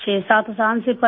67 साल से पड़ी